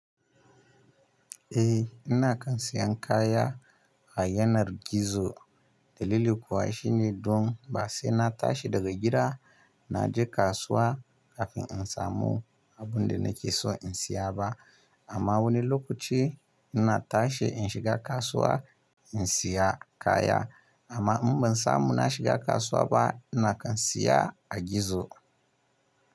Eh, ina kan siyan kaya a yanar gizo. Dalili kuwa shine don ba sai na tashi daga gida na je kasuwa kafin in samu abin da nake so in siya ba. Amma wani lokaci ina tashi in shiga kasuwa in siya kaya. Amma in ban samu na shiga kasuwa ba ina kan siya a gizo.